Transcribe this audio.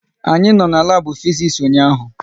Anyị no na labu Fiziks ụnyaahụ